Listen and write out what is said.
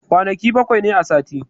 Kwanaki bakwai ne a sati.